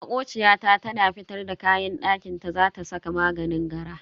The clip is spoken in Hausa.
Makociya ta tana fitar da kayan dakinta za ta saka maganin gara.